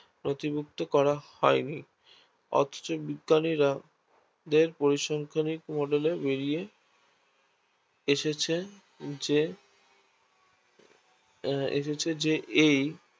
প্রতি মুক্ত করা হয়নি অথচ বিজ্ঞানীরা দের পরিসংখ্যানিক Model এ বেড়িয়ে এসেছে যে এসেছে যে এই